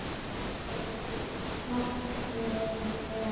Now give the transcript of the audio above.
Það gæti margt verið verra.